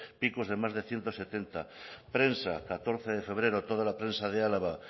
picos de más de ciento setenta prensa catorce de febrero toda la prensa de álava